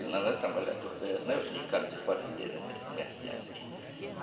Porque ele não é o sindicato de fazendeiros nem é o comerciante.